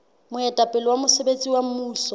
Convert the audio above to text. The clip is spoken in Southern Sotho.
moetapele wa mosebetsi wa mmuso